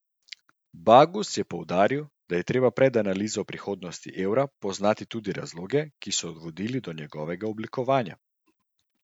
Bagus je poudaril, da je treba pred analizo prihodnosti evra poznati tudi razloge, ki so vodili do njegovega oblikovanja.